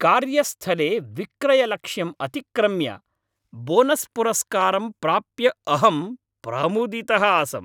कार्यस्थले विक्रयलक्ष्यं अतिक्रम्य बोनस्पुरस्कारं प्राप्य अहं प्रमुदितः आसम्।